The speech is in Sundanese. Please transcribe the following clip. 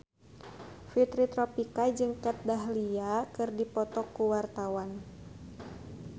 Fitri Tropika jeung Kat Dahlia keur dipoto ku wartawan